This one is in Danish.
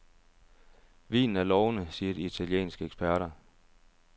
Vinen er lovende, siger de italienske eksperter.